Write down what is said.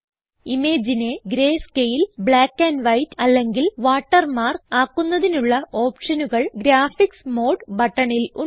ഇമേജിനെ greyscale black and white അല്ലെങ്കിൽ watermark ആക്കുന്നതിനുള്ള ഓപ്ഷനുകൾ ഗ്രാഫിക്സ് മോഡ് ബട്ടണിൽ ഉണ്ട്